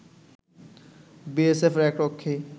বিএসএফের এক রক্ষী